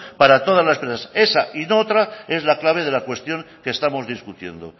para todas las presas esa y no otra es la clave de la cuestión que estamos discutiendo